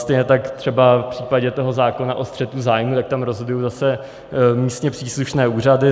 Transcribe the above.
Stejně tak třeba v případě toho zákona o střetu zájmů, tak tam rozhodují zase místně příslušné úřady.